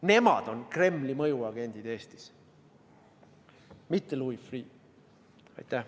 Nemad on Kremli mõjuagendid Eestis, mitte Louis Freeh.